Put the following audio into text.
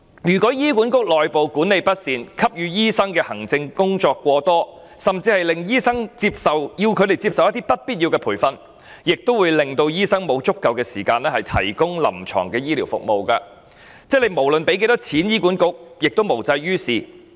如果醫管局內部管理不善，要醫生做過多行政工作，甚至要醫生接受不必要的培訓，亦會令醫生缺乏足夠時間提供臨床醫療服務，不論向醫管局撥款多少也無濟於事。